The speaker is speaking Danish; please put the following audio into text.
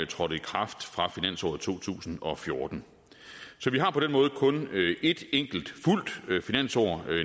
trådte i kraft fra finansåret to tusind og fjorten så vi har på den måde kun et enkelt fuldt finansår